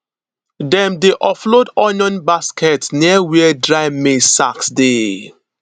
dem dey offload onion baskets near where dry maize sacks dey